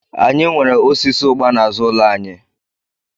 Anyị nwere osisi ụgba n'azụ ụlọ anyị.